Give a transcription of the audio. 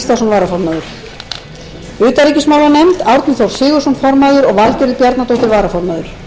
varaformaður atli gíslason utanríkismálanefnd formaður árni þór sigurðsson varaformaður valgerður bjarnadóttir viðskiptanefnd formaður álfheiður ingadóttir